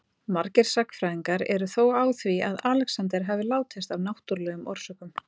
Margir sagnfræðingar eru þó á því að Alexander hafi látist af náttúrlegum orsökum.